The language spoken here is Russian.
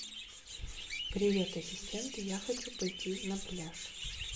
привет ассистент я хочу пойти на пляж